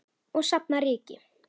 Og safna ryki.